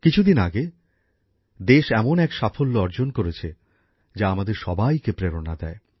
কিছু দিন আগে দেশ এমন এক সাফল্য অর্জন করেছে যা আমাদের সবাইকে প্রেরণা দেয়